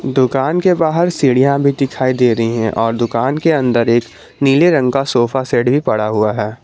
दुकान के बाहर सीढ़ियां भी दिखाई दे रही हैं और दुकान के अंदर एक नीले रंग का सोफा सेट भी पड़ा हुआ है।